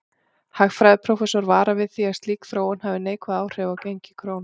Hagfræðiprófessor varar við því að slík þróun hafi neikvæð áhrif á gengi krónu.